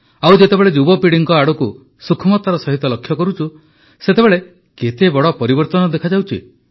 ଆଉ ଯେତେବେଳେ ଯୁବପିଢ଼ି ଆଡ଼କୁ ସୂକ୍ଷ୍ମତାର ସହ ଲକ୍ଷ୍ୟ କରୁଛୁ ସେତେବେଳେ କେତେ ବଡ଼ ପରିବର୍ତ୍ତନ ଦେଖାଯାଉଛି